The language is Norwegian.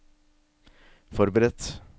forberedt